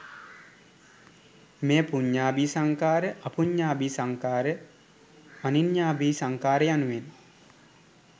මෙය පුඤ්ඤාභි සංඛාර, අපුඤ්ඤාභි සංඛාර, අනෙඤ්ඤාභි සංඛාර යනුවෙන්